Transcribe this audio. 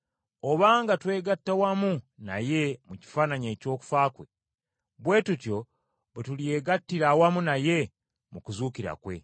Obanga twegatta wamu naye mu kifaananyi eky’okufa kwe, bwe tutyo bwe tulyegattira awamu naye mu kuzuukira kwe.